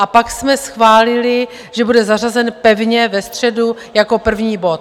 A pak jsme schválili, že bude zařazen pevně ve středu jako první bod.